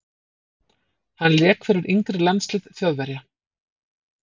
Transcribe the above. Hann lék fyrir yngri landslið Þjóðverja.